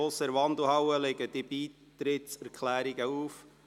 Draussen in der Wandelhalle liegen Beitrittserklärungen auf.